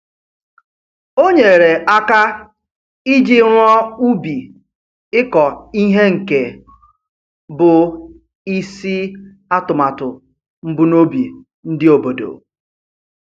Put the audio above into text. O nyere aka iji rụọ ubi ịkọ ihe nke bụ isi atụmatụ mbunobi ndị obodo